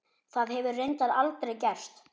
Það hefur reyndar aldrei gerst.